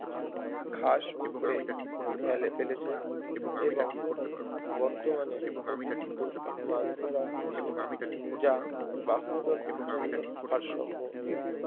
ঘাস উপরে ফেলে ফেলেছে এবং বর্তমানে অতিরিক্ত মাছ ধরা হচ্ছে যা বাস্তুতন্ত্রের জন্য ভারসাম্যহীন